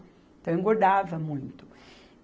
Então, eu engordava muito.